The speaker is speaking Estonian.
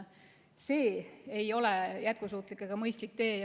See ei ole jätkusuutlik ega mõistlik tee.